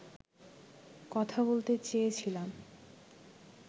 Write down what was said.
কথা বলতে চেয়েছিলাম